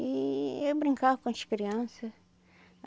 Eee eu brincava com as criança.